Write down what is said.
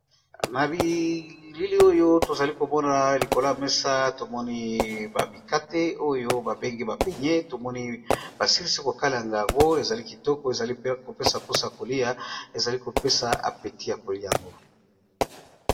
Na bilili oyo tozalikomona likolo ya mesa tomoni ba mikate oyo ba bengi beignets basilisi KO kalinga yango pe epesi posa ya koliya.